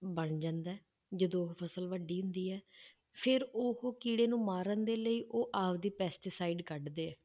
ਬਣ ਜਾਂਦਾ ਹੈ, ਜਦੋਂ ਫਸਲ ਵੱਡੀ ਹੁੰਦੀ ਹੈ ਫਿਰ ਉਹ ਕੀੜੇ ਨੂੰ ਮਾਰਨ ਦੇ ਲਈ ਉਹ ਆਪਦੀ pesticide ਕੱਢਦੇ ਹੈ,